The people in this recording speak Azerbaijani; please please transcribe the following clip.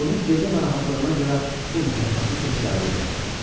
Bunu gecə narahatlığına görə pul mükafatı kimi qəbul elədim.